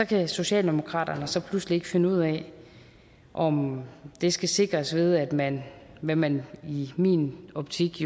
kan socialdemokraterne så pludselig ikke finde ud af om det skal sikres ved at man hvad man jo i min optik